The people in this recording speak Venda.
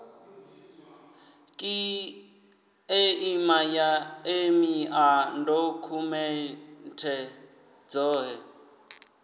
kiḽeima ya emia dokhumenthe dzoṱhe